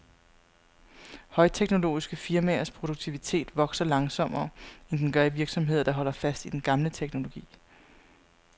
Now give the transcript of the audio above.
Højteknologiske firmaers produktivitet vokser langsommere, end den gør i virksomheder, der holder fast i den gamle teknologi.